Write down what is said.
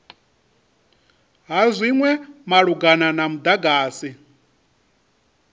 ha zwinwe malugana na mudagasi